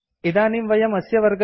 इदानीं वयम् अस्य वर्गस्य अन्ते स्मः